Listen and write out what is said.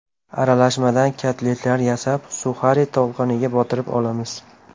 Aralashmadan kotletlar yasab, suxari tolqoniga botirib olamiz.